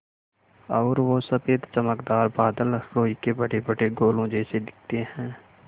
और वो सफ़ेद चमकदार बादल रूई के बड़ेबड़े गोलों जैसे दिखते हैं